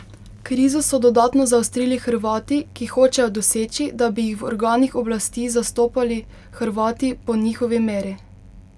Krizo so dodatno zaostrili Hrvati, ki hočejo doseči, da bi jih v organih oblasti zastopali Hrvati po njihovi meri.